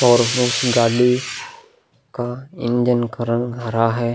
और हुक गाड़ी का इंजन का रंग हरा है।